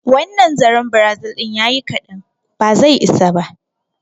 Wannan zaren Brazil din ya yi ƙadan, ba zai isa ba.